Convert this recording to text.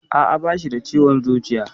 Aa, Bashi da ciwon zuciya.